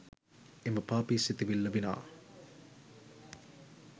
එම පාපි සිතිවිල්ල විනා